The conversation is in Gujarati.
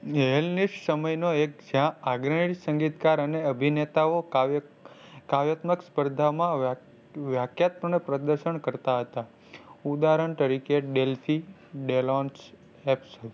સમય નો એક જ્યાં આગ્રહી સંગીતકાર અને અભિનેતાઓ કાવ્ય કાવ્યાત્મક સ્પર્ધામાં વ્યા વ્યાકત્મક ને પ્રદર્શન કરતાં હતા. ઉદાહરણ તરીકે Delfie delon